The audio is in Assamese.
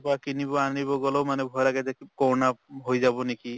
পৰা কিনিব আনিবলৈও মানে ভয় লাগে কৰʼণা হৈ যাব নেকি